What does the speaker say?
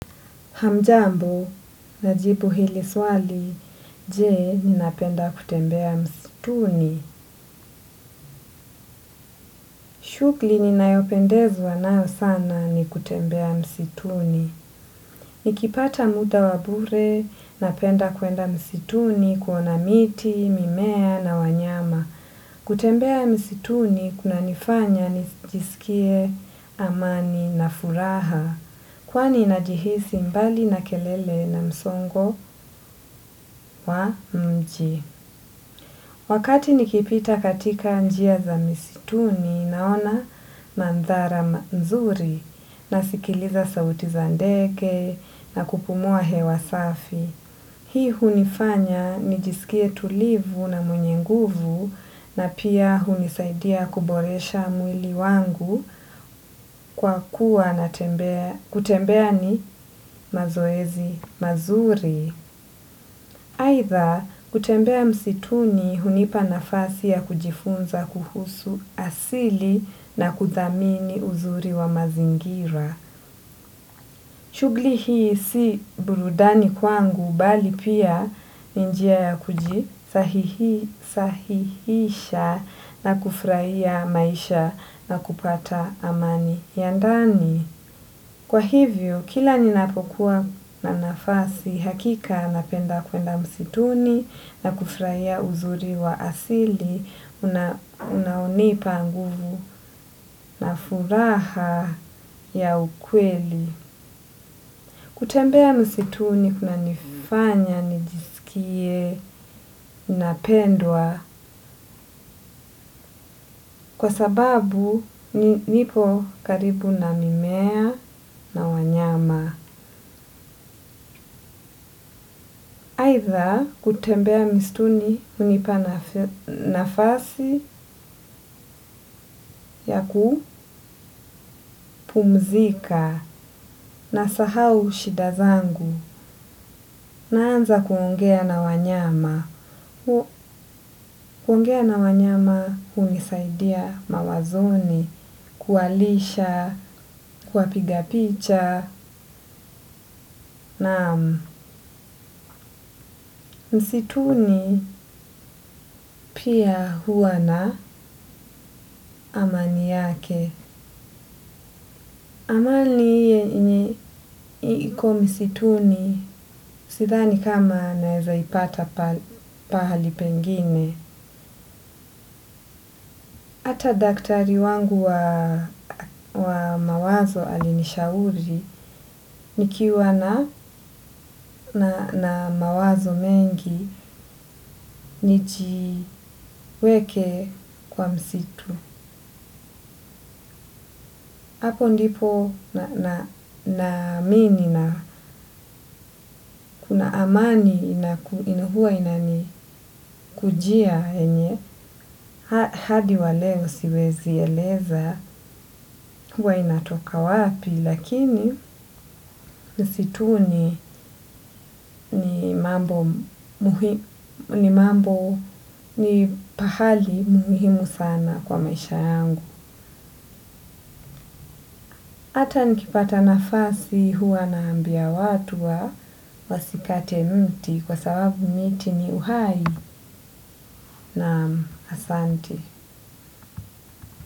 Hamjambo, najibu hili swali, je ninapenda kutembea msituni. Shughuli ninayopendezwa nayo sana ni kutembea msituni. Nikipata muda wa bure, napenda kwenda msituni kuona miti, mimea na wanyama. Kutembea msituni, kuna nifanya nijisikie amani na furaha. Kwani najihisi mbali na kelele na msongo wa mji. Wakati nikipita katika njia za misituni naona manzara mzuri nasikiliza sauti za ndege na kupumua hewa safi. Hii hunifanya nijisikie tulivu na mwenye nguvu na pia hunisaidia kuboresha mwili wangu kwa kuwa na kutembea ni mazoezi. Mazuri aidha kutembea msituni hunipa nafasi ya kujifunza kuhusu asili na kuthamini uzuri wa mazingira. Shughuli hii si burudani kwangu bali pia ni njia ya kujisahihisha na kufurahia maisha na kupata amani ya ndani. Kwa hivyo, kila ninapokuwa na nafasi hakika napenda kwenda msituni na kufurahia uzuri wa asili, unaonipa nguvu na furaha ya ukweli. Kutembea msituni kuna nifanya nijisikie napendwa kwa sababu nipo karibu na mimea na wanyama. Aidha kutembea misituni hunipana nafasi ya kupumzika nasahau shida zangu naanza kuongea na wanyama. Kuongea na wanyama hunisaidia mawazoni, kuwalisha, kuwapiga picha na msituni pia huwa na amani yake. Amani iko msitu ni sidhani kama naeza ipata pahali pengine. Hata daktari wangu wa mawazo alinishauri nikiwa na mawazo mengi nijiweke kwa msitu. Hapo ndipo naamini na kuna amani inahua inani kujia yenye. Hadi waleo siwezi eleza huwa inatoka wapi lakini msituni ni mambo ni pahali muhimu sana kwa maisha yangu. Ata nikipata nafasi huwa naambia watu wa wasikate mti kwa sababu miti ni uhai na asante.